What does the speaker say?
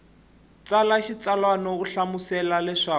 tsala xitsalwana u hlamusela leswaku